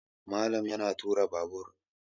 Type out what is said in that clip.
Malam yana tura Babur